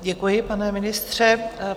Děkuji, pane ministře.